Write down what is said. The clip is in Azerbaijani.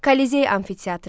Kollizey amfiteatrı.